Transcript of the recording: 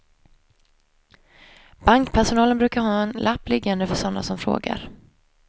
Bankpersonalen brukar ha en lapp liggande för sådana som frågar.